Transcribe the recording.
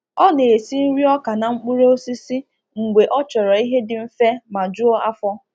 Ọ na-esi nriọka na mkpụrụ osisi mgbe ọ chọrọ ihe dị mfe ma juo afọ.